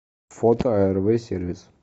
фото арв сервис